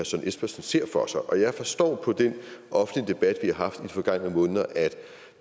søren espersen ser for sig og jeg forstår på den offentlige debat vi har haft i de forgangne måneder at